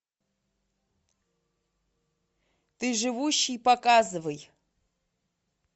ты живущий показывай